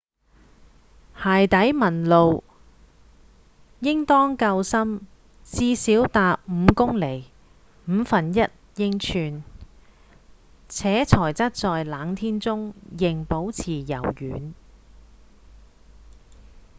鞋底紋路應當夠深至少達5公釐 1/5 英寸且材質在冷天中仍保持柔軟